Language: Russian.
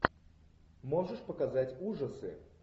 можешь показать ужасы